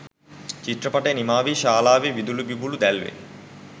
චිත්‍රපටය නිමාවී ශාලාවේ විදුලි බුබුළු දැල්වේ